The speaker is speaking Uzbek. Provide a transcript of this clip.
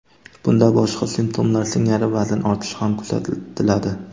Bunda boshqa simptomlar singari vazn ortishi ham kuzatiladi.